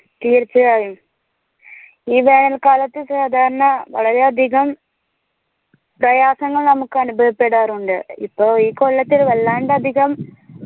തീർച്ചയായും ഈ വേനൽ കാലത്ത് സാധാരണ വളരെ അധികം പ്രയാസങ്ങൾ നമക് അനുഭവപ്പെടാറുണ്ട് ഇപ്പൊ ഈ കൊല്ലത്തിൽ വല്ലാണ്ട് അധികം